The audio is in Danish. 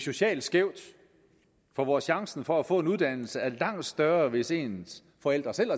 socialt skævt når chancen for at få en uddannelse er langt større hvis ens forældre selv